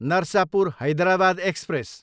Narsapur, Hyderabad express